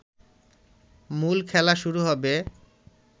মূল খেলা শুরু হবে